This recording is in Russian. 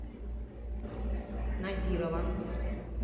назирова